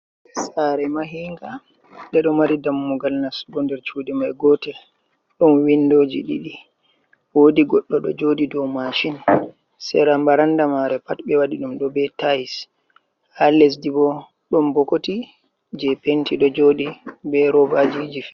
Sare mahinga, ɓeɗo mari dammugal nastugo nder cuuɗi mai, gotel ɗon windoji ɗiɗi wodi godɗo ɗo joɗi dou mashin, sera baranda mare pat ɓe wadi ɗum do be tayis, ha lesdi bo ɗon bokoti je penti ɗo joɗi be robaji je.